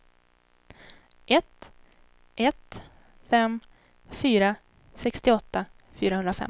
ett ett fem fyra sextioåtta fyrahundrafemton